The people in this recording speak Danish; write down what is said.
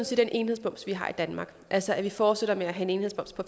set den enhedsmoms vi har i danmark altså at vi fortsætter med at have en enhedsmoms på